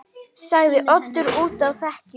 sagði Oddur úti á þekju.